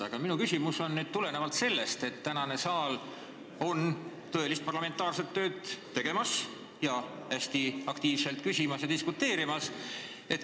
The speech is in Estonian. Aga minu küsimus tuleneb sellest, et täna on saal tõelist parlamentaarset tööd tegemas, hästi aktiivselt küsimas ja diskuteerimas.